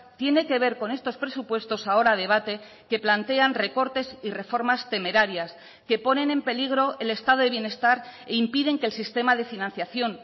tiene que ver con estos presupuestos ahora a debate que plantean recortes y reformas temerarias que ponen en peligro el estado de bienestar e impiden que el sistema de financiación